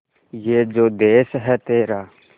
ये जो देस है तेरा